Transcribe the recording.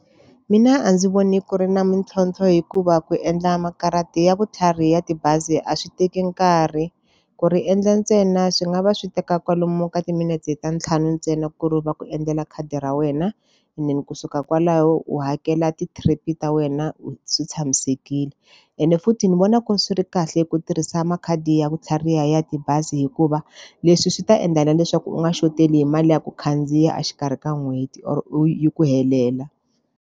Mina a ndzi voni ku ri na mintlhontlho hikuva ku endla makarati ya vutlhari ya tibazi a swi teki nkarhi. Ku ri endla ntsena swi nga va swi teka kwalomu ka timinete ta ntlhanu ntsena ku ri va ku endlela khadi ra wena, and then kusuka kwalaho u hakela ti-trip-i ta wena swi tshamisekile. Ene futhi ni vona ku ri swi ri kahle ku tirhisa makhadi ya ku tlhariha ya tibazi hikuva, leswi swi ta endla na leswaku u nga xoteriwi hi mali ya ku khandziya exikarhi ka n'hweti or u yi ku helela.